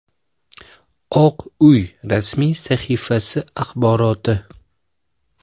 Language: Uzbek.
Oq Uy rasmiy sahifasi axboroti.